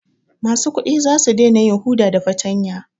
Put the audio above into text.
Masu kuɗi za su daina yin huɗa da fatanya.